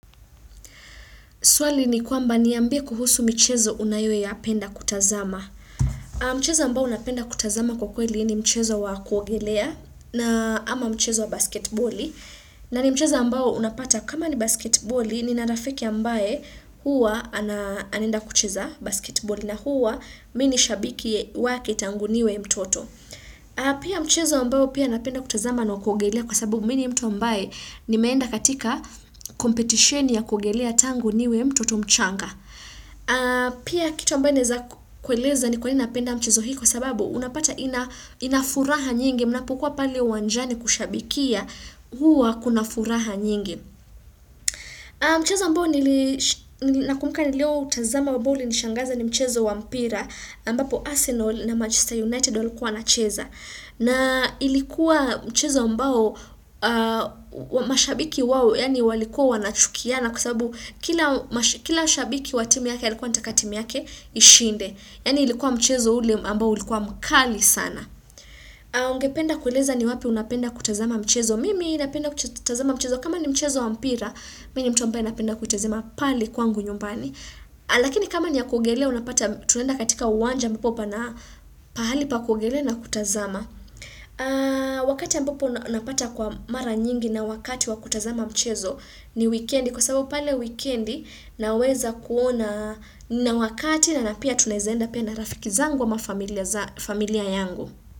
Swali ni kwamba niambie kuhusu michezo unayoyapenda kutazama. Mchezo ambao unapenda kutazama kwa kweli ni mchezo wa kuogelea na ama mchezo wa basketboli. Na ni mchezo ambao unapata kama ni basketboli nina rafiki ambaye huwa anaenda kucheza basketboli na huwa mi ni shabiki wake tangu niwe mtoto. Pia mchezo ambao pia napenda kutazama ni wa kuogelea kwa sababu mi ni mtu ambae nimeenda katika competition ya kuogelea tangu niwe mtoto mchanga Pia kitu ambae naeza kueleza ni kwa nini napenda mchezo hii kwa sababu unapata ina furaha nyingi mnapokuwa pale uwanjani kushabikia huwa kuna furaha nyingi Mchezo ambao ni nakumbuka nilioutazama ambao ulinishangaza ni mchezo wa mpira ambapo Arsenal na Manchester United walikuwa wanacheza na ilikuwa mchezo ambao, mashabiki wao, yaani walikuwa wanachukiana kwa sabu kila shabiki wa timu yake alikuwa anataka timu yake ishinde. Yaani ilikuwa mchezo ule ambao ulikuwa mkali sana. Ungependa kueleza ni wapi unapenda kutazama mchezo. Mimi napenda kutazama mchezo. Kama ni mchezo wa mpira, mi ni mtu ambaye napenda kutazama pale kwangu nyumbani. Lakini kama ni ya kuogelea unapata tunaenda katika uwanja ambapo pana pahali pa kuogelea na kutazama wakati ambapo napata kwa mara nyingi na wakati wa kutazama mchezo ni wikendi kwa sababu pale wikendi naweza kuona na wakati na na pia tunaeza enda pia na rafiki zangu ama familia yangu.